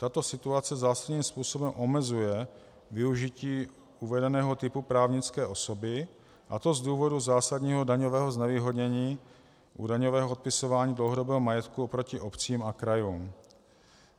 Tato situace zásadním způsobem omezuje využití uvedeného typu právnické osoby, a to z důvodu zásadního daňového znevýhodnění u daňového odpisování dlouhodobého majetku oproti obcím a krajům.